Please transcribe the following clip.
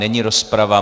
Není rozprava.